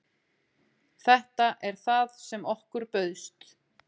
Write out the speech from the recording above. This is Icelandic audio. Þetta er það sem okkur bauðst